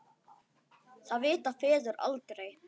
Það vita feður aldrei.